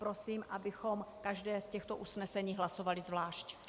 Prosím, abychom každé z těchto usnesení hlasovali zvlášť.